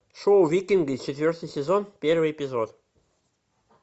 шоу викинги четвертый сезон первый эпизод